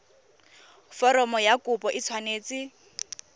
foromo ya kopo e tshwanetse